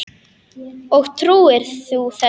Og trúir þú þessu?